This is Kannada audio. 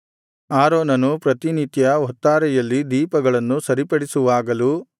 ಆರೋನನು ಪ್ರತಿನಿತ್ಯ ಹೊತ್ತಾರೆಯಲ್ಲಿ ದೀಪಗಳನ್ನು ಸರಿಪಡಿಸುವಾಗಲೂ